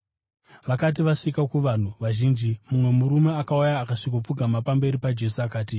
Vakati vasvika kuvanhu vazhinji, mumwe murume akauya akasvikopfugama pamberi paJesu akati,